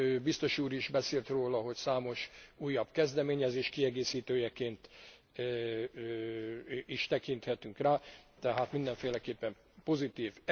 Biztos úr is beszélt róla, hogy számos újabb kezdeményezés kiegészítőjeként is tekinthetünk rá, tehát mindenféleképpen pozitív.